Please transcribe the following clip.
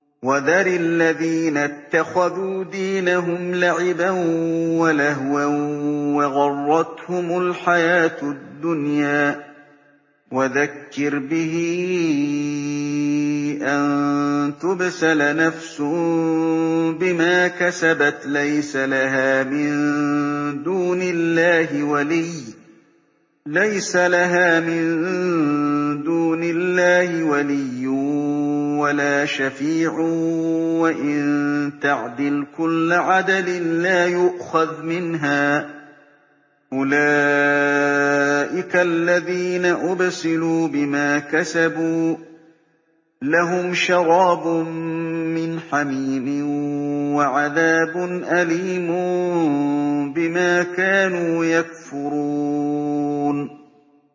وَذَرِ الَّذِينَ اتَّخَذُوا دِينَهُمْ لَعِبًا وَلَهْوًا وَغَرَّتْهُمُ الْحَيَاةُ الدُّنْيَا ۚ وَذَكِّرْ بِهِ أَن تُبْسَلَ نَفْسٌ بِمَا كَسَبَتْ لَيْسَ لَهَا مِن دُونِ اللَّهِ وَلِيٌّ وَلَا شَفِيعٌ وَإِن تَعْدِلْ كُلَّ عَدْلٍ لَّا يُؤْخَذْ مِنْهَا ۗ أُولَٰئِكَ الَّذِينَ أُبْسِلُوا بِمَا كَسَبُوا ۖ لَهُمْ شَرَابٌ مِّنْ حَمِيمٍ وَعَذَابٌ أَلِيمٌ بِمَا كَانُوا يَكْفُرُونَ